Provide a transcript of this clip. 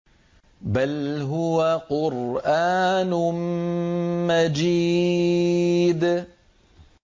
بَلْ هُوَ قُرْآنٌ مَّجِيدٌ